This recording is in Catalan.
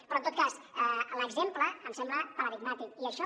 però en tot cas l’exemple em sembla paradigmàtic i això